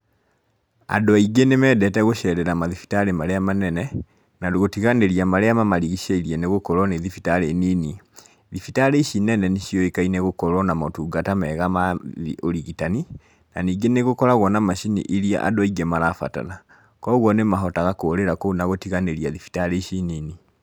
Andũ aingĩ nĩ mendete gũcerera mathibitari marĩa manene na gũtiganĩria marĩa mamarigicĩirie nĩ gũkorwo nĩ thibitarĩ nini. Thibitari ici nene nĩ ciũĩkaine gukorwo na motungata mega ma ũrigitani, na ningĩ nĩ gũkoragwo na macini iria andũ aingĩ marabatara, koguo nĩ mahotaga kũrĩra kũu na gũtiganĩria thibitarĩ ici nini.